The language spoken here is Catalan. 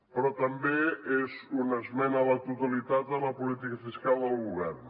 però també és una esmena a la totalitat a la política fiscal del govern